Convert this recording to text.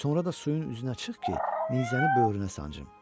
Sonra da suyun üzünə çıx ki, nizəni böyrünə sancım.